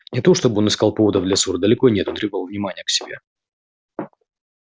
не то чтобы он искал поводов для ссоры далеко нет он требовал внимания к себе